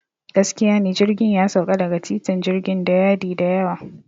Gaskiya ne, jirgin ya sauka daga titin jirgin da yadi da yawa.